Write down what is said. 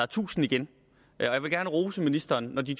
tusind igen jeg vil gerne rose ministeren når de